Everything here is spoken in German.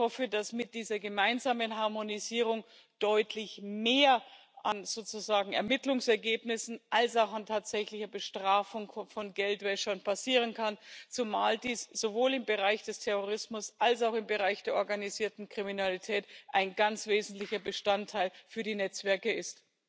Ich hoffe, dass mit dieser gemeinsamen Harmonisierung deutlich mehr an Ermittlungsergebnissen als auch an tatsächlicher Bestrafung von Geldwäschern passieren kann, zumal dies sowohl im Bereich des Terrorismus als auch im Bereich der organisierten Kriminalität ein ganz wesentlicher Bestandteil für die Netzwerke ist.